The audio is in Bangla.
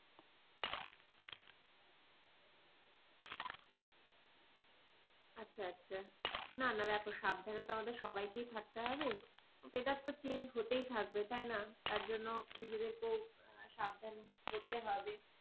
আচ্ছা আচ্ছা না না দেখো সাবধানে তো আমাদের সবাইকেই থাকতে হবে weather তো change হতেই থাকবে তাই না তার জন্য নিজেদেরকেও সাবধান হতে হবে।